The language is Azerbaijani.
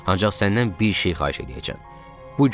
Ancaq səndən bir şeyi xahiş eləyəcəyəm.